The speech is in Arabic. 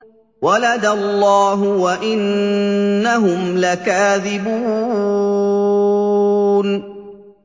وَلَدَ اللَّهُ وَإِنَّهُمْ لَكَاذِبُونَ